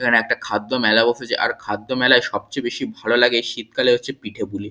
এখানে একটা খাদ্য মেলা বসেছেআর খাদ্য মেলায় সবচে বেশি ভালো লাগে শীতকালে হচ্ছে পিঠেপুলি।